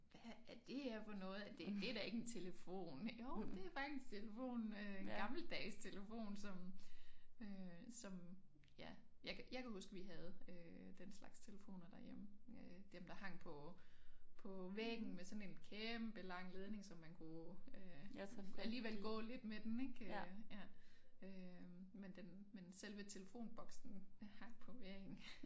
Hvad er det her for noget det det da ikke en telefon jo det faktisk telefonen øh gammeldags telefon som øh som ja jeg kan jeg kan huske vi havde øh den slags telefoner derhjemme øh dem der hang på på væggen med sådan en kæmpe lang ledning så man kunne øh alligevel gå lidt med den ik øh ja øh men den men selve telefonboksen hang på væggen